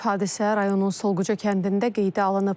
Hadisə rayonun Solqıca kəndində qeydə alınıb.